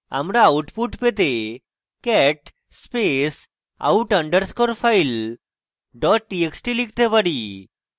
আমরা output পেতে cat space out underscore file dot txt লিখতে পারি